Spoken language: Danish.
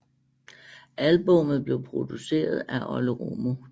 Albummet blev produceret af Olle Romo